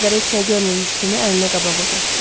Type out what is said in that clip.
Gözləri heç nə görmürmüş kimi əlini qabağa uzatdı.